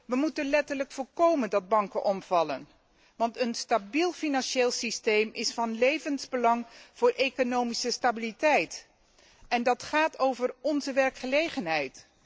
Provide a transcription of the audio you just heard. We moeten letterlijk voorkomen dat banken omvallen, want een stabiel financieel systeem is van levensbelang voor economische stabiliteit en dat gaat over onze werkgelegenheid.